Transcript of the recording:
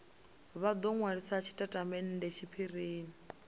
vha do nwalisa tshitatamennde tshiphirini